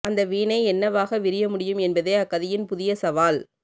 அந்த வீணை என்னவாக விரிய முடியும் என்பதே அக்கதையின் புதிய சவால்